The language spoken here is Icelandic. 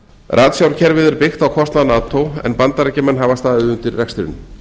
ratsjárkerfið er byggt á kostnað nato en bandaríkjamenn hafa staðið undir rekstrinum